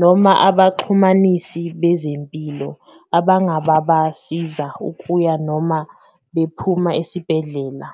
noma abaxhumanisi bezempilo abangababasiza ukuya noma bephuma esibhedlela.